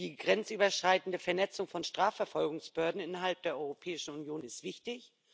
Die grenzüberschreitende Vernetzung von Strafverfolgungsbehörden innerhalb der Europäischen Union ist wichtig.